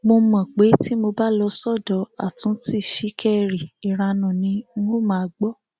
mo mọ pé tí mo bá lọ sọdọ àtúntí ṣìkẹrì ìranu ni n óò máa gbọ